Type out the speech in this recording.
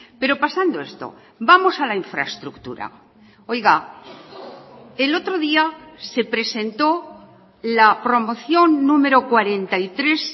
pero pasando esto vamos a la infraestructura oiga el otro día se presentó la promoción número cuarenta y tres